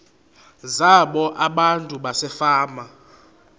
zabo abantu basefama